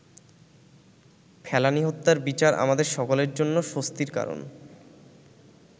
ফেলানী হত্যার বিচার আমাদের সকলের জন্য স্বস্তির কারণ।